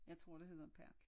Jeg tror dte hedder park